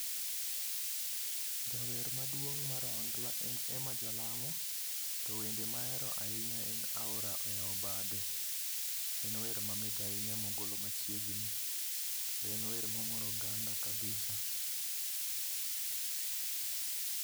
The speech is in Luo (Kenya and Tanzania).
Jawer maduong' mar ohangla en Emma Jalamo. To wende mahero ahinya en aora oyaw bade. En wer mamit ahinya mogolo machiengni, kendo en wer momoro oganda kabisa